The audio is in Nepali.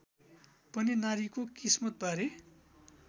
पनि नारीको किस्मतबारे